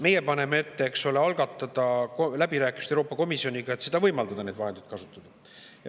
Meie paneme ette, eks ole, algatada läbirääkimised Euroopa Komisjoniga, et võimaldada neid vahendeid kasutada.